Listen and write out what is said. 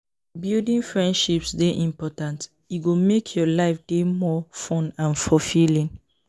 Building friendships dey important; e go make your life dey more fun and fulfilling.